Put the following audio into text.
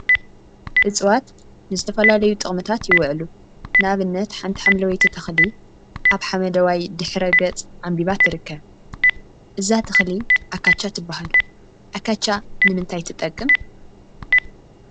እፅዋት ንዝተፈላለዩ ጥቅሚታት ይውዕሉ፡፡ ንአብነት ሓንቲ ሓምለወይቲ ተክሊ አብ ሓመደዋይ ድሕረ ገፅ ዓምቢባ ትርከብ፡፡ እዛ ተክሊ አካቻ ትብሃል፡፡ አካቻ ንምንታይ ትጠቅም?